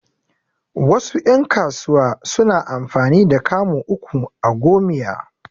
Wasu ƴan kasuwa suna amfani da kamu uku a gomiya